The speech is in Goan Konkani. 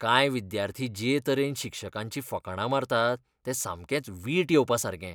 कांय विद्यार्थी जे तरेन शिक्षकांचीं फकाणां मारतात तें सामकेंच वीट येवपासारकें